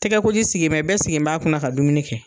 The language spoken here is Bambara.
Tigɛkoji sigilen bɛ, bɛɛ sigilenb'a kunna ka dumuni kɛ.